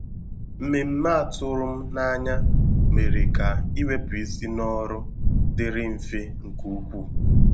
Mmemme a tụrụ m n'anya mere ka iwepụ isi n’ọrụ dịrị mfe nke ukwuu.